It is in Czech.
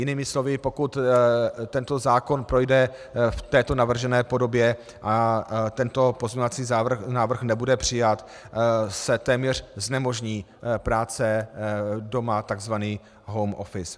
Jinými slovy, pokud tento zákon projde v této navržené podobě a tento pozměňovací návrh nebude přijat, se téměř znemožní práce doma, tzv. home office.